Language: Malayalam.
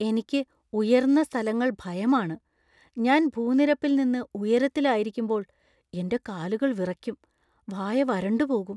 എനിക്ക് ഉയർന്ന സ്ഥലങ്ങള്‍ ഭയമാണ്. ഞാൻ ഭൂനിരപ്പിൽ നിന്ന് ഉയരത്തിൽ ആയിരിക്കുമ്പോൾ എന്‍റെ കാലുകൾ വിറക്കും, വായ വരണ്ടുപോകും.